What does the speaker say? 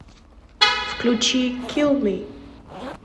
включи килл ми